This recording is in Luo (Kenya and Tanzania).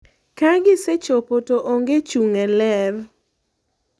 Ka gisechopo to onge chung' e ler.